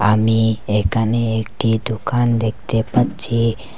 আমি একানে একটি দোকান দেখতে পাচ্চি।